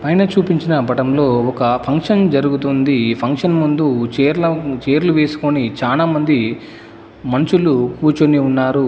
పైన చూపించిన పటంలో ఒక ఫంక్షన్ జరుగుతుంది ఫంక్షన్ ముందు చేర్ల చేర్లు వేసుకొని చానా మంది మంచులు కూర్చొని ఉన్నారు.